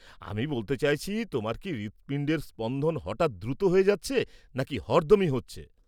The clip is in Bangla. আমি বলতে চাইছি, তোমার কি হৃৎপিণ্ডের স্পন্দন হঠাৎ দ্রুত হচ্ছে নাকি হরদমই হচ্ছে?